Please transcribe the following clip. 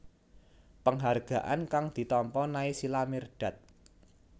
Penghargaan kang ditampa Naysila Mirdad